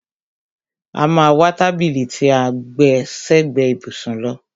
A má a wá tábìlì tí à ń gbẹ́ sẹ́gbẹ ìbùsùn lọ.